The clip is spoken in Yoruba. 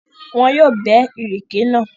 Wọn yóò bẹ́ ìrèké náà.